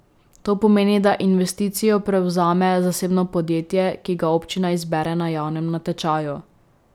To pomeni, da investicijo prevzame zasebno podjetje, ki ga občina izbere na javnem natečaju.